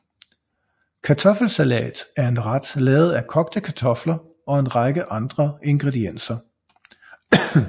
Kartoffelsalat er en ret lavet af kogte kartofler og en række andre ingredienser